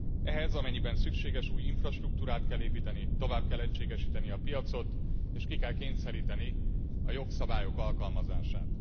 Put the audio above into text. Ehhez, amennyiben szükséges, új infrastruktúrát kell építeni, tovább kell egységesíteni a piacot, és ki kell kényszeríteni a jogszabályok alkalmazását.